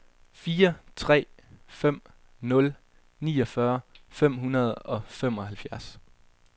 fire tre fem nul niogfyrre fem hundrede og femoghalvfjerds